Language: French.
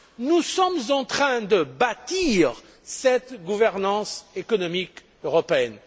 Nous sommes en train de bâtir cette gouvernance économique européenne.